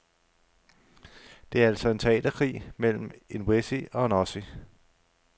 Det er altså en teaterkrig mellem en wessie og en ossie.